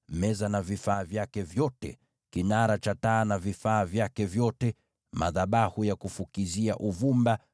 meza na vifaa vyake vyote, kinara cha taa na vifaa vyake vyote, madhabahu ya kufukizia uvumba,